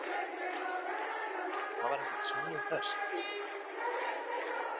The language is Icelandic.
Það var ekkert smá hresst.